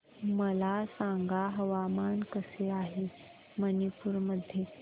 मला सांगा हवामान कसे आहे मणिपूर मध्ये